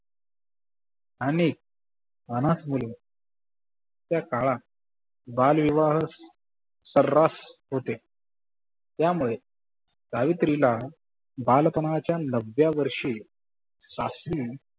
आणि अनाथ मुले त्या काळात बाल विवाह सर्रास होते, त्या मुले सावित्रीला बालपनाच्या नवव्या वर्षी सासु